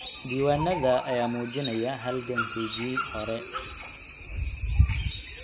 Diiwaanada ayaa muujinaya halgankayagii hore.